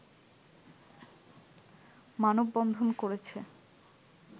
মানববন্ধন করেছে